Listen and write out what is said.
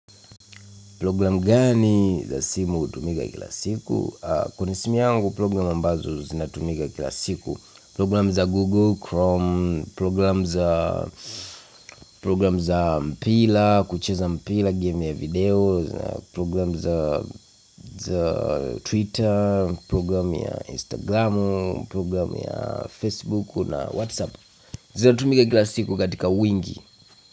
Program gani za simu hutumika kila siku? Kwenye simu yangu program ambazo zinatumika kila siku, program za Google Chrome, program za, program za mpira, kucheza mpira, game ya video program za, za Twitter, program ya Instagramu, program ya Facebook na Whatsapp. Zinatumika kila siku katika wingi.